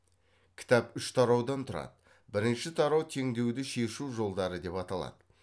кітап үш тараудан тұрады бірінші тарау теңдеуді шешу жолдары деп аталады